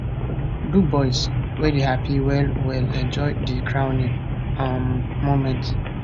dubois wey dey happy wellwell enjoy di crowning um moment